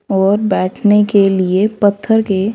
और बैठने के लिए पत्थर के--